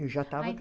Já estava